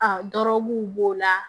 A dɔrɔguw b'o la